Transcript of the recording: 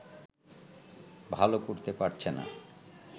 ভালো করতে পারছেনা